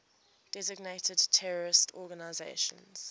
designated terrorist organizations